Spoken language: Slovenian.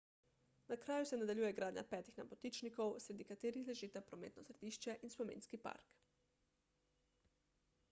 na kraju se nadaljuje gradnja petih nebotičnikov sredi katerih ležita prometno središče in spominski park